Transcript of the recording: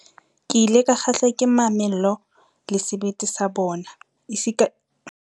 Ke ile ka kgahlwa ke mamello le sebete sa bona, esita le boikitlaetso ba bona ba ho dula ba shahlile.